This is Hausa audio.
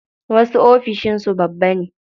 Wasu ofishin su babba ne.